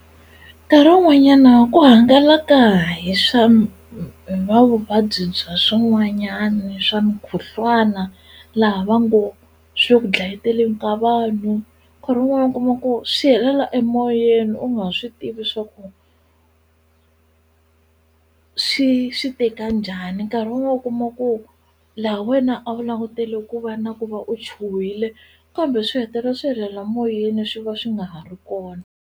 Nkarhi wun'wanyana ku hangalaka hi swa hi va vuvabyi bya swin'wanyani swa mukhuhlwana laha va ngo swi ku dlayeteleni ka vanhu nkarhi wun'wana u kuma ku swi helela emoyeni u nga swi tivi swa ku swi swi te kanjhani nkarhi wun'wana u kuma ku laha wena a wu langutele ku va na ku va u chuhile kambe swi hetelela swi helela moyeni swi va swi nga ha ri kona.